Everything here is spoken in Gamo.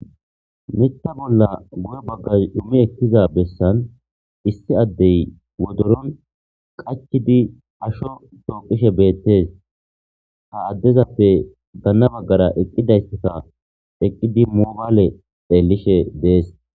Nitta bolla guye baggaz dumi ekkiza bessan issi addey wodoron qachidi asho tooqishe beettees ha addezappe ganna baggara eqqidayseta eqqidi moobaale eellishe dees.